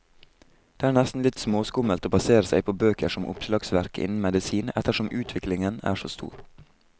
Det er nesten litt småskummelt å basere seg på bøker som oppslagsverk innen medisin, ettersom utviklingen er så stor.